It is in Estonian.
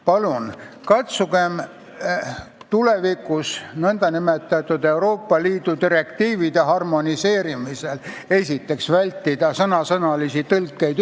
Palun katsugem tulevikus Euroopa Liidu direktiivide harmoneerimisel esiteks vältida sõnasõnalisi tõlkeid.